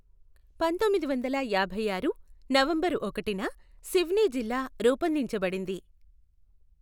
పంతొమ్మిది వందల యాభై ఆరు నవంబరు ఒకటిన సివ్నీ జిల్లా రూపొందించబడింది.